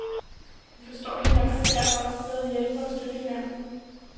Vi forstår hinanden og kan derfor også bedre hjælpe og støtte hinanden.